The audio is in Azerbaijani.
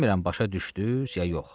Bilmirəm başa düşdüz ya yox.